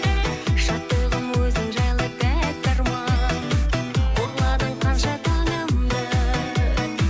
шаттығым өзің жайлы тәтті арман ұрладың қанша таңымды